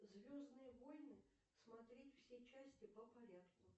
звездные войны смотреть все части по порядку